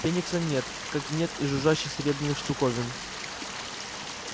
феникса нет как нет и жужжащих серебряных штуковин